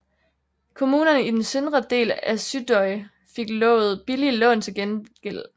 Kommunerne i den søndre del af Suðuroy fik lovet billige lån til gengæld